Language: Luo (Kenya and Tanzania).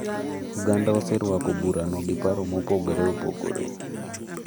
Oganda oserwako burano gi paro mopogore opogore.